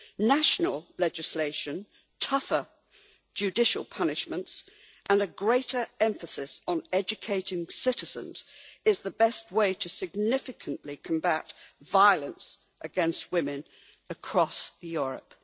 National legislation, tougher judicial punishments and a greater emphasis on educating citizens is the best way to significantly combat violence against women across Europe.